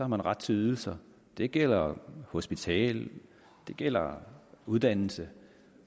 man ret til ydelser det gælder hospital det gælder uddannelse